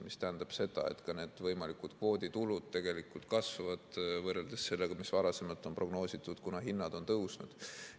See tähendab, et ka need võimalikud kvooditulud kasvavad, võrreldes sellega, mis varasemalt on prognoositud, kuna hinnad on tõusnud.